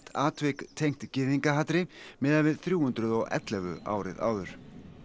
atvik tengt gyðingahatri miðað við þrjú hundruð og ellefu árið áður